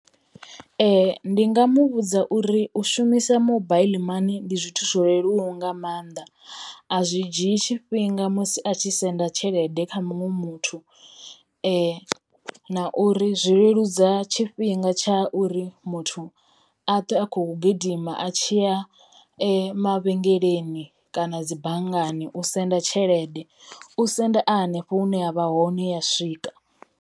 Ndi nga mu vhudza uri u shumisa mobile money ndi zwithu zwo leluwaho nga mannḓa a zwi dzhie tshifhinga musi a tshi senda tshelede kha muṅwe muthu na uri zwi leludza tshifhinga tsha uri muthu a a khou gidima a tshiya mavhengeleni kana dzi banngani u senda tshelede. U senda a hanefho hune a vha hone ya swika.